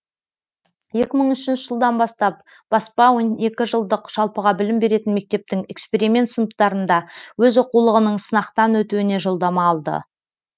екі мың үшінші жылдан бастап баспа он екі жылдық жалпыға білім беретін мектептің эксперимент сыныптарында өз оқулығының сынақтан өтуіне жолдама алды